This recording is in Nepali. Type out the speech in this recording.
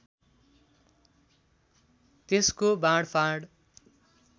त्यसको बाँडफाँड